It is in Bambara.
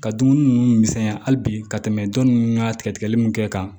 Ka dumuni ninnu misɛnya hali bi ka tɛmɛ dɔ ninnu ka tigɛli min kɛ kan